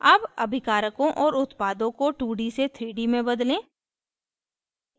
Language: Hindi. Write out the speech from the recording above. अब अभिकारकों और उत्पादों को 2 डी से 3 डी में बदलें